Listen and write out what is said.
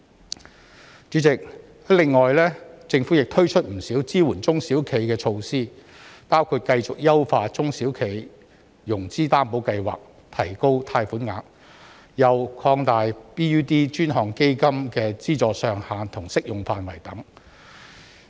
代理主席，政府亦推出了不少支援中小企的措施，包括繼續優化中小企融資擔保計劃，提高貸款額，又擴大 BUD 專項基金的資助上限和適用範圍等。